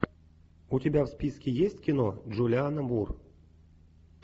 у тебя в списке есть кино джулианна мур